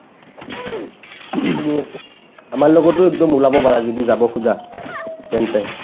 ing আমাৰ লগতো একদম ওলাব পাৰা যদি যাব খোজা তেন্তে